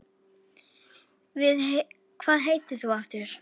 Hvað heitir þú aftur?